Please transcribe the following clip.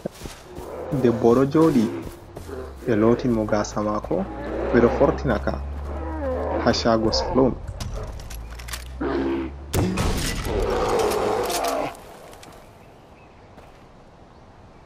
Debbo ɗo joɗi ɓe loti mo gasa mako, ɓe ɗo fortinaka ha shago salom.